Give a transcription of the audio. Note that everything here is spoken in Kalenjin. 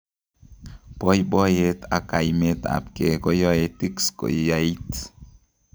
Boiboiyet ak kaimet ab kee koyoe tics koyaait